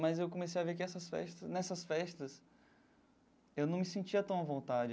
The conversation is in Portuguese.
Mas eu comecei a ver que essas festas nessas festas eu não me sentia tão à vontade.